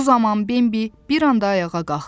Bu zaman Bembi bir anda ayağa qalxdı.